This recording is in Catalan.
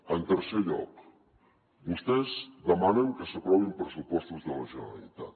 en tercer lloc vostès demanen que s’aprovin pressupostos de la generalitat